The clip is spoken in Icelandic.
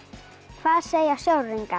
hvað segja sjóræningjar